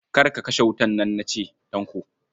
Kar ka kashe ƙwan nan na ce, Tanko.